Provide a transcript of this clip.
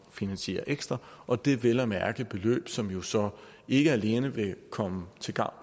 finansiere ekstra og det er vel at mærke beløb som jo så ikke alene vil komme til gavn